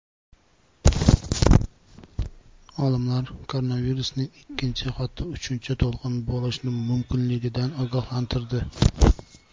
Olimlar koronavirusning ikkinchi, hatto uchinchi to‘lqini bo‘lishi mumkinligidan ogohlantirdi.